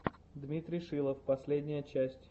дмитрий шилов последняя часть